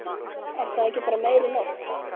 Er það ekki bara meiri nótt?